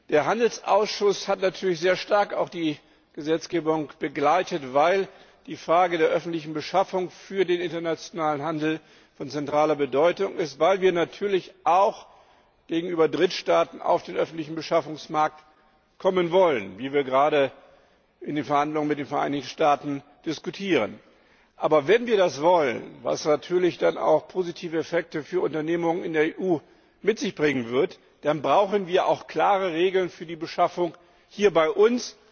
Der Handelsausschuss hat natürlich sehr stark die Gesetzgebung begleitet, weil die Frage der öffentlichen Beschaffung für den internationalen Handel von zentraler Bedeutung ist, weil wir natürlich auch in Drittstaaten auf den öffentlichen Beschaffungsmarkt kommen wollen wie wir es gerade in den Verhandlungen mit den Vereinigten Staaten diskutieren. Aber wenn wir das wollen was natürlich dann auch positive Effekte für Unternehmungen in der EU mit sich bringen wird dann brauchen wir auch klare Regeln für die Beschaffung hier bei uns,